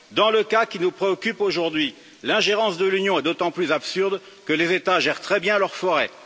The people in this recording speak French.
Dans le cas qui nous préoccupe aujourd'hui, l'ingérence de l'Union est d'autant plus absurde que les États gèrent très bien leurs forêts.